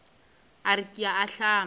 a re ke a ahlama